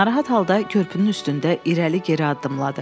Narahat halda körpünün üstündə irəli geri addımladı.